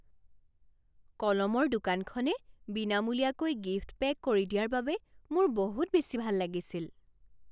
কলমৰ দোকানখনে বিনামূলীয়াকৈ গিফ্ট পেক কৰি দিয়াৰ বাবে মোৰ বহুত বেছি ভাল লাগিছিল।